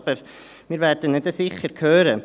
Aber wir werden ihn dann sicher hören.